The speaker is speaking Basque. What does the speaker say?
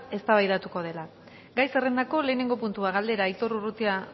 eztabaidatuko dela gai zerrendako lehenengo puntua galdera aitor urrutia